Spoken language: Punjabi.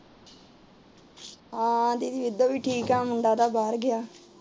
ਹਾਂ ਦੀਦੀ ਐਦਾਂ ਵੀ ਠੀਕ ਏ ਮੁੰਡਾ ਤਾ ਬਾਹਰ ਗਿਆ